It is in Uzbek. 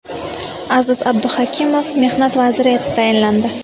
Aziz Abduhakimov Mehnat vaziri etib tayinlandi.